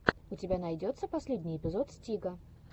у тебя найдется последний эпизод стига